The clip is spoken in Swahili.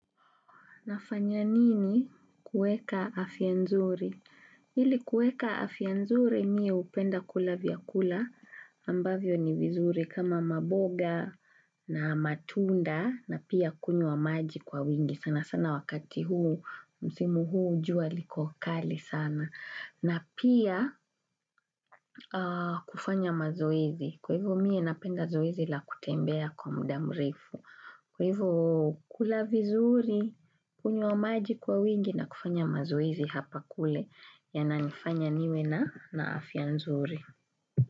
Nafanya nini kueka afia nzuri? Ili kueka afia nzuri mi hupenda kula vyakula ambavyo ni vizuri kama maboga na matunda na pia kunywa maji kwa wingi sana sana wakati huu msimu huu jua liko kali sana na pia kufanya mazoezi kwa hivo mie napenda zoezi la kutembea kwa muda mrefu. Kwa hivyo kula vizuri, kunywa maji kwa wingi na kufanya mazoezi hapa kule yana nifanya niwe na na afia nzuri.